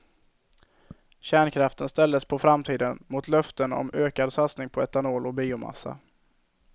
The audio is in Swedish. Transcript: Kärnkraften ställdes på framtiden mot löften om ökad satsning på etanol och biomassa.